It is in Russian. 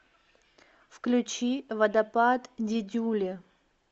включи водопад дидюли